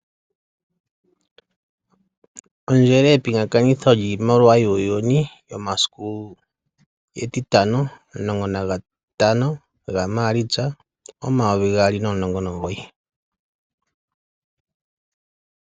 Ondjele yepingakanitho lyiimaliwa yuuyuni yomasiku etitano 15 Maalitsa 2019.